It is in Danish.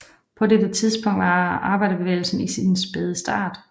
På dette tidspunkt var arbejderbevægelsen i sin spæde start